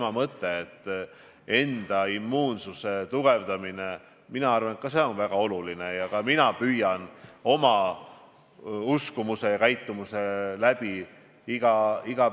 Ma arvan, et üks osa valitsevast selgusetusest või probleemist Eestis on olnud see, et valitsuselt on tulnud kohati väga segased ja erinevad signaalid.